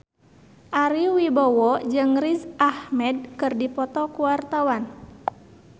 Ari Wibowo jeung Riz Ahmed keur dipoto ku wartawan